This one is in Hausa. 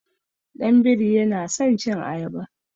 Ɗan biri yana san cin ayaba.